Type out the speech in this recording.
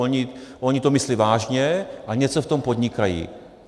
Oni to myslí vážně a něco v tom podnikají.